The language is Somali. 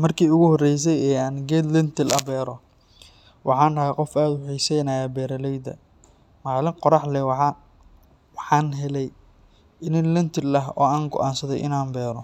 Markii ugu horreysay ee aan geed lentil ah beero, waxaan ahaa qof aad u xiiseynaya beeraleyda. Maalin qorrax leh, waxaan helay iniin lentil ah oo aan go’aansaday inaan beero.